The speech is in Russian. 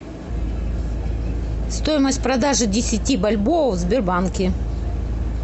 стоимость продажи десяти бальбоа в сбербанке